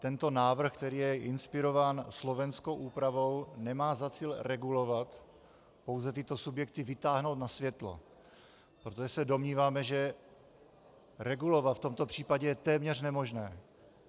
Tento návrh, který je inspirován slovenskou úpravou, nemá za cíl regulovat, pouze tyto subjekty vytáhnout na světlo, protože se domníváme, že regulovat v tomto případě je téměř nemožné.